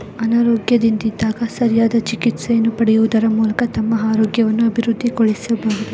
ಅನಾರೋಗ್ಯದಿಂದ್ದಿದಾಗ ಸರಿಯಾದ ಚಿಕಿತ್ಸೆಯನ್ನು ಪಡೆಯುವದರ ಮೂಲಕ ತುಂಬಾ ಆರೊಗ್ಯವನ್ನು ಅಬಿವೃದ್ದಿಗೊಳಿಸಬಹುದು .